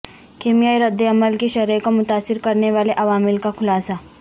کیمیائی رد عمل کی شرح کو متاثر کرنے والے عوامل کا خلاصہ